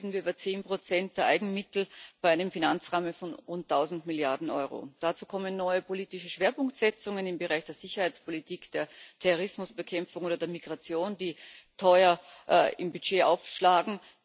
Immerhin reden wir über 10 der Eigenmittel bei einem Finanzrahmen von rund 1000 Milliarden Euro. Dazu kommen neue politische Schwerpunktsetzungen im Bereich der Sicherheitspolitik, der Terrorismusbekämpfung oder der Migration, die teuer im Budget aufschlagen.